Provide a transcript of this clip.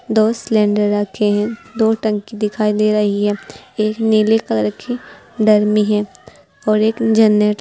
दो सिलेंडर रखें है दो टंकी दिखाई दे रही है एक नीले कलर की ड्रम भी है और एक जनरे--